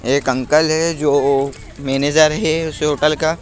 एक अंकल है जो मैनेजर है उस होटल का।